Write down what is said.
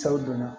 donna